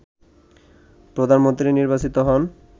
প্রধানমন্ত্রী নির্বাচিত হন